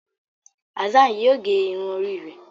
Hassan yíò gé Irun Orí rẹ.